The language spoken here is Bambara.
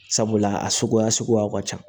Sabula a suguya suguyaw ka ca